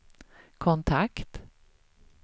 kontakt